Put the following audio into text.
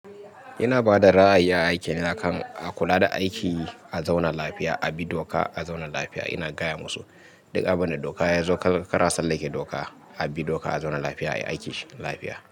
Ina ba da ra'ayi a aiki na kan a kula da aiki a zaune lafiya, a bi doka a zaune lafiya. Ina gaya musu duk abin da doka yazo kar a tsalle ke doka, a bi doka a zaune lafiya ayi aiki cikin lafiya.